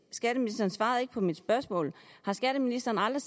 skatteministeren svarede ikke på mit spørgsmål har skatteministeren